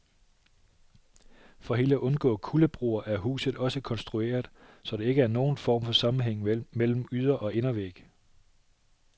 For helt at undgå kuldebroer er huset også konstrueret, så der ikke er nogen form for sammenhæng mellem yder- og indervæg.